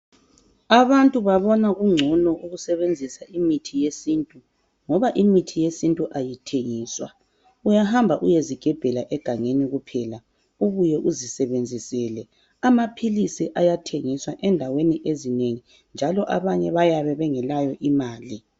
Abantu babona kungcono ukusebenzisa imithi yesintu ngoba imithi yesintu ayithengiswa uyahamba uyezigebhela egangeni kuphela ubuye uzisebenzisele amaphilisi ayathengiswa endaweni ezinengi njalo abanye bayabe bengelayo imali.